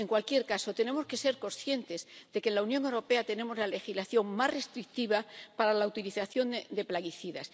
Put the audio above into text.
En cualquier caso, tenemos que ser conscientes de que en la Unión Europea tenemos la legislación más restrictiva para la utilización de plaguicidas.